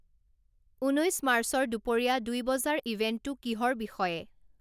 ঊনৈশ মাৰ্চৰ দুপৰীয়া দুই বজাৰ ইভেণ্টটো কিহৰ বিষয়ে